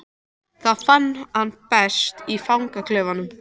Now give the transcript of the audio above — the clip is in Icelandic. Það fann hann best í fangaklefanum.